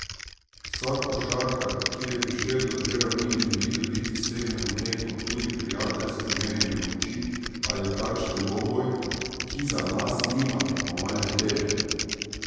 Vsak košarkar, ki je prišel do te ravni, želi dobiti sleherno tekmo, tudi prijateljsko merjenje moči ali takšen dvoboj, ki za nas nima tekmovalne teže.